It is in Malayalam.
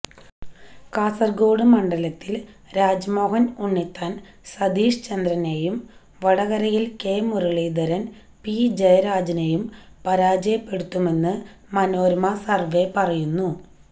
കാസര്ഗോഡ് മണ്ഡലത്തില് രാജ്മോഹന് ഉണ്ണിത്താന് സതീഷ് ചന്ദ്രനെയും വടകരയില് കെ മുരളീധരന് പി ജയരാജനെയും പരാജയപ്പെടുത്തുമെന്ന് മനോരമ സര്വ്വെ പറയുന്നു